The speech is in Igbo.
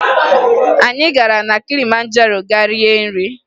Anyị gara na Kilimanjaro gaa rie nri